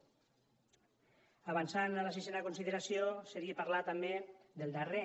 avançant a la sisena consideració seria parlar també del darrer